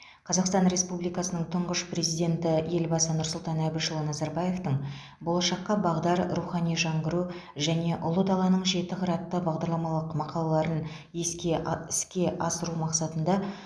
қазақстан республикасының тұңғыш президенті елбасы нұрсұлтан әбішұлы назарбаевтың болашаққа бағдар рухани жаңғыру және ұлы даланың жеті қыры атты бағдарламалық мақалаларын еске іске асыру мақсатында